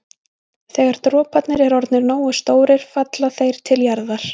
Þegar droparnir eru orðnir nógu stórir falla þeir til jarðar.